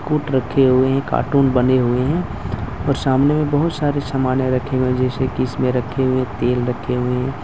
put रखे हुए हैं कार्टून बने हुए हैं और सामने में बहुत सारे सामान रखेंगे जैसे कि इसमें रखे हुए तेल रखे हुए--